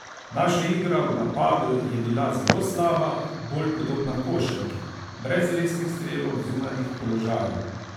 Naša igra v napadu je bila zelo slaba, bolj podobna košarki, brez resnih strelov z zunanjih položajev.